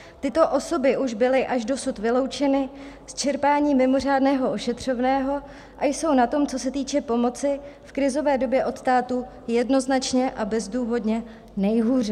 Tyto osoby už byly až dosud vyloučeny z čerpání mimořádného ošetřovného a jsou na tom, co se týče pomoci v krizové době od státu, jednoznačně a bezdůvodně nejhůře.